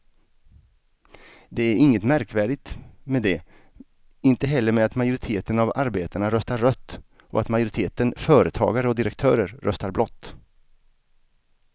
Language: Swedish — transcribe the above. Det är inget märkvärdigt med det, inte heller med att majoriteten av arbetarna röstar rött och att majoriteten företagare och direktörer röstar blått.